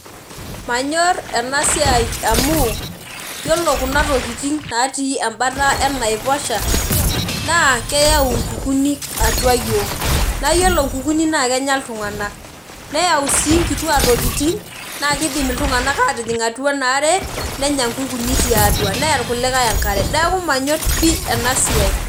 Manyor enasiai amu, yiolo kuna tokiting natii ebata enaiposha, naa keyau nkukuuni atua yiok. Na yiolo nkukuuni naa kenya iltung'anak. Neyau si nkutia tokiting, na kidim iltung'anak atijing' atua enaare, nenya nkukuuni tiatua. Neya irkulikae enkare. Neeku manyor pi enasiai.